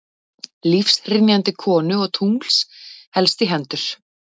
Lífshrynjandi konu og tungls helst í hendur.